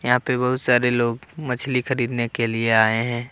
यहां पे बहुत सारे लोग मछली खरीदने के लिए आए हैं।